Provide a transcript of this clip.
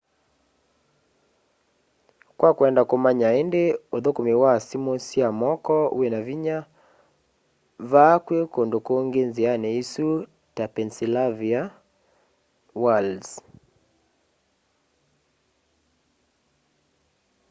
kwa kwenda kũmanya ĩndĩ ũthũkũmi wa simũ sya moko wĩna vinya vaa kwĩ kũndũ kũngĩ nziani ĩsu ta pennsylvania wilds